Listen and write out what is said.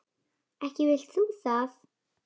Ekki vilt þú það?